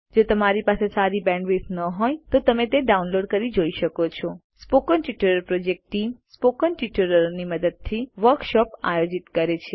જો તમારી પાસે સારી બેન્ડવિડ્થ ન હોય તો તમે ડાઉનલોડ કરી તે જોઈ શકો છો spoken tutorial project team spoken ટ્યુટોરીયલોની મદદથી વર્કશોપ આયોજિત કરે છે